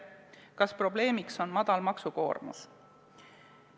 Kas probleemiks on väike maksukoormus?